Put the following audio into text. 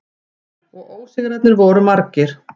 Og ósigrarnir voru margir.